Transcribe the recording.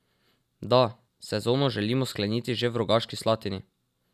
Da, sezono želimo skleniti že v Rogaški Slatini.